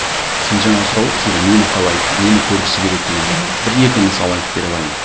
сен жаңа сұрап отырсың ғой нені қалайды нені көргісі келеді деген мхм бір екі мысал айтып бере